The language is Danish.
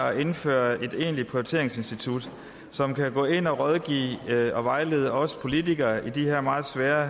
er at indføre et egentligt prioriteringsinstitut som kan gå ind og rådgive og vejlede os politikere i de her meget svære